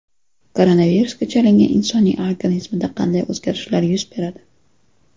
Koronavirusga chalingan insonning organizmida qanday o‘zgarishlar yuz beradi?.